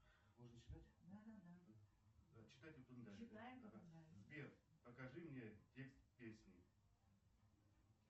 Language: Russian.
сбер покажи мне текст песни